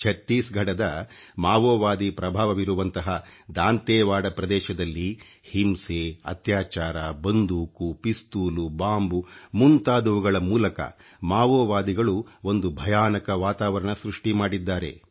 ಛತ್ತೀಸ್ಘಡದ ಮಾವೋವಾದಿ ಪ್ರಭಾವವಿರುವಂಥ ದಾಂತೇವಾಡ ಪ್ರದೇಶದಲ್ಲಿ ಹಿಂಸೆ ಅತ್ಯಾಚಾರ ಬಂದೂಕು ಪಿಸ್ತೂಲು ಬಾಂಬ್ ಮುಂತಾದವುಗಳ ಮೂಲಕ ಮಾವೋವಾದಿಗಳು ಒಂದು ಭಯಾನಕ ವಾತಾವರಣ ಸೃಷ್ಟಿ ಮಾಡಿದ್ದಾರೆ